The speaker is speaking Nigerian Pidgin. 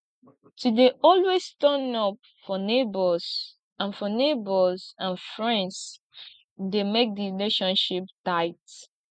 to de always turn up for neighbors and for neighbors and friends de make di relationship tight